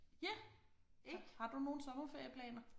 Ja har du nogle sommerferieplaner?